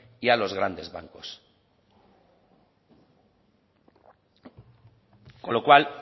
y a los grandes bancos con lo cual